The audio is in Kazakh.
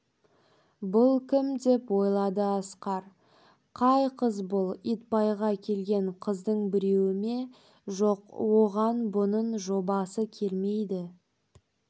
бұл кім деп ойлады асқар қай қыз бұл итбайға келген қыздың біреуі ме жоқ оған бұның жобасы келмейді